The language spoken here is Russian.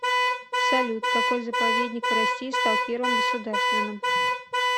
салют какой заповедник в россии стал первым государственным